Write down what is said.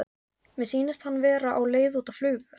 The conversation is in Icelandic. Mér sýnist hann vera á leið út á flugvöll.